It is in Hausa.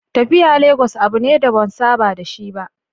Tafiyar Legas abu ne da ban saba da shi ba.